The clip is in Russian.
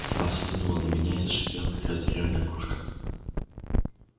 сова взглянула на меня и зашипела как разъярённая кошка